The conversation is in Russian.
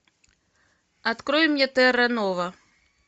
открой мне терранова